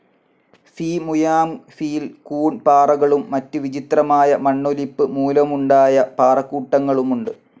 ഫി Muang ഫിയിൽ കൂൺ പാറകളും മറ്റ് വിചിത്രമായ മണ്ണൊലിപ്പ് മൂലമുണ്ടായ പാറക്കൂട്ടങ്ങളുമുണ്ട്.